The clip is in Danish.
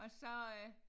Og så øh